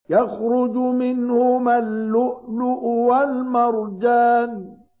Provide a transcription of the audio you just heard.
يَخْرُجُ مِنْهُمَا اللُّؤْلُؤُ وَالْمَرْجَانُ